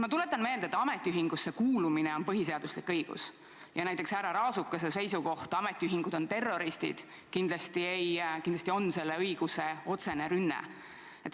Ma tuletan meelde, et ametiühingusse kuulumine on põhiseaduslik õigus ja näiteks härra Raasukese seisukoht, et ametiühingud on terroristid, on kindlasti selle õiguse otsene rünne.